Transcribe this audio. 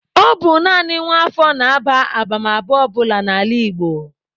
Ọ bụ naanị nwa afọ na-aba abamaba ọ bụla n'ala Igbo.